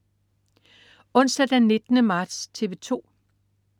Onsdag den 19. marts - TV 2: